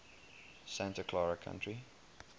santa clara county